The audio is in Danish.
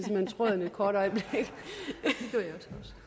hen tråden et kort øjeblik